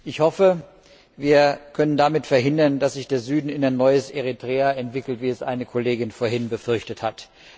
Ich hoffe, wir können damit verhindern, dass sich der Süden zu einem neuen Eritrea entwickelt, wie es eine Kollegin vorhin befürchtet hat.